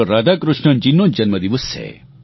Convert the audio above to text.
રાધાકૃષ્ણનજીનો જન્મદિવસ છે